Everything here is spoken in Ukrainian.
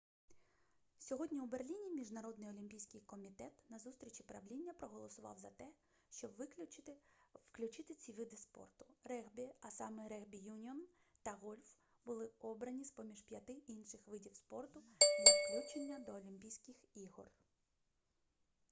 сьогодні у берліні міжнародний олімпійський комітет на зустрічі правління проголосував за те щоб включити ці види спорту регбі а саме регбі-юніон та гольф були обрані з-поміж п'яти інших видів спорту для включення до олімпійських ігор